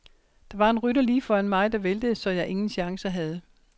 Der var en rytter lige foran mig, der væltede, så jeg ingen chancer havde.